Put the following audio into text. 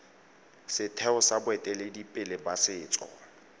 setheo sa boeteledipele ba setso